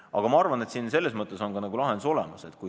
Aga ma arvan, et ka lahendus on olemas.